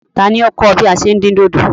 Tani o kọ̀ ọ bí à ṣé ń dín dòdò?